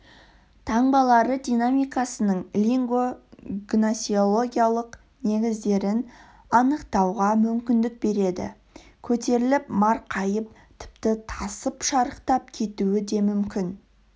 таңбалары динамикасының лингво-гносеологиялық негіздерін анықтауға мүмкіндік береді көтеріліп марқайып тіпті тасып шарықтап кетуі де мүмкін